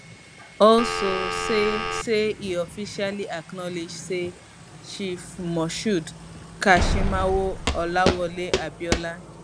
also say say e officially acknowledge say chief moshood kashimawo olawale abiola